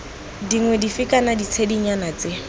dingwe dife kana ditshedinyana tse